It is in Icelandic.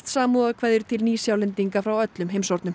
samúðarkveðjur til ný Sjálendinga frá öllum heimshornum